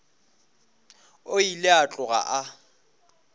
o ile a tloga a